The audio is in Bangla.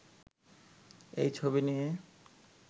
এই ছবি নিয়ে